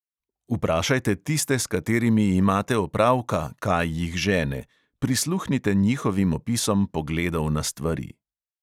Vprašajte tiste, s katerimi imate opravka, kaj jih žene, prisluhnite njihovim opisom pogledov na stvari.